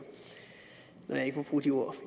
når jeg ikke må bruge de ord